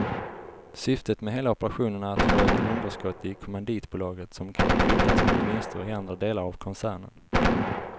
Syftet med hela operationen är att få ett underskott i kommanditbolaget som kan kvittas mot vinster i andra delar av koncernen.